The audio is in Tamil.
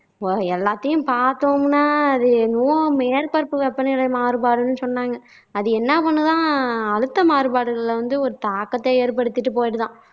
இப்போ எல்லாத்தையும் பாத்தோம்னா அது என்னவோ மேற்பரப்பு வெப்பநிலை மாறுபாடுன்னு சொன்னாங்க அது என்னா பண்ணுதாம் அழ்த்த மாறுபாடுகளில ஒரு தாக்கத்தை ஏற்படுத்திட்டு போய்டுதாம்